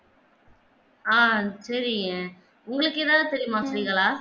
ஆஹ் சரிங்க உங்களுக்கு எதாவது தெரியுமா உம் ஸ்ரீகலா